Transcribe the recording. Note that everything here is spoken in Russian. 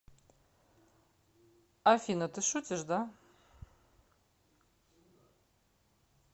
афина ты шутишь да